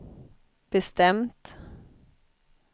bestämt